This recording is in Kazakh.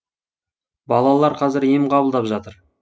балалар қазір ем қабылдап жатыр